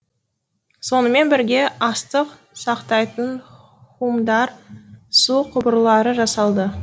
сонымен бірге астық сақтайтын хумдар су құбырлары жасалды